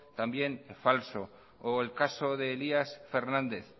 también falso o el caso de elías fernández